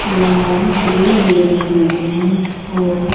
यहाँ बिजली भी लगई गइ है और--